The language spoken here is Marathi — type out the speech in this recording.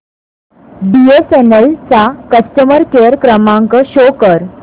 बीएसएनएल चा कस्टमर केअर क्रमांक शो कर